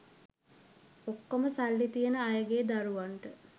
ඔක්කොම සල්ලි තියන අයගේ දරුවන්ට